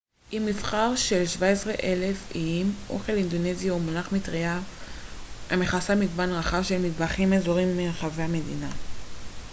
עם מבחר של 17,000 איים אוכל אינדונזי הוא מונח מטרייה המכסה מגוון רחב של מטבחים אזוריים מרחבי המדינה